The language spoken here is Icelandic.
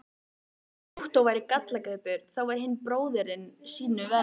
Þótt Ottó væri gallagripur, þá var hinn bróðirinn sýnu verri.